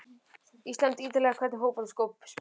ísland- ítalía Í hvernig fótboltaskóm spilar þú?